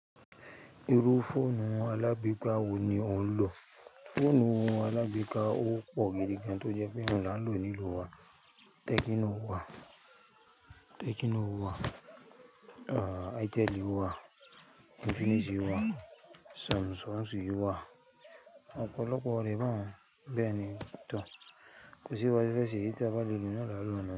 Irú fóònù alágbèéká wo ni ò ń lò? Fóònù alágbèéká ó pò gidi gan, tó jẹ́ pé inú lálo nílùú wa. Tecno wà, Itel wà, Infinix wà, Samsung wà. Ọ̀pọ̀lọpọ̀ lẹ bá bẹ́ẹ̀ ni. Kò sí bá ṣe fẹ́ ṣe, èyí tá bá lè lò náà láa lò nínú ẹ̀.